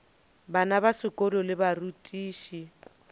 bana ba sekolo le barutiši